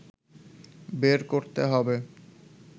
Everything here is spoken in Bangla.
বের করতে হবে